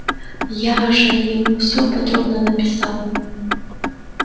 я же ему все подробно написал